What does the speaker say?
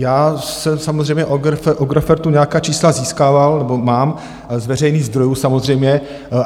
Já jsem samozřejmě od Agrofertu nějaká čísla získával nebo znám, z veřejných zdrojů samozřejmě.